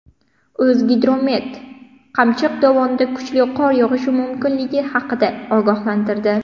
O‘zgidromet Qamchiq dovonida kuchli qor yog‘ishi mumkinligi haqida ogohlantirdi.